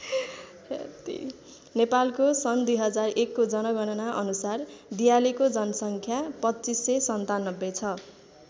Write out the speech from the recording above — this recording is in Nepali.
नेपालको सन् २००१ को जनगणना अनुसार दियालेको जनसङ्ख्या २५९७ छ।